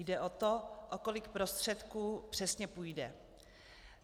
Jde o to, o kolik prostředků přesně půjde.